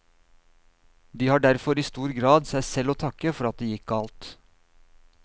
De har derfor i stor grad seg selv å takke for at det gikk galt.